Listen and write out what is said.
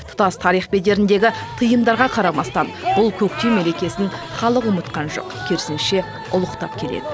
тұтас тарих бедеріндегі тыйымдарға қарамастан бұл көктем мерекесін халық ұмытқан жоқ керісінше ұлықтап келеді